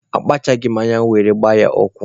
Akpachaghị m anya were gbaa ya ụkwụ.